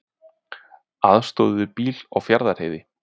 Aðstoðuðu bíl á Fjarðarheiði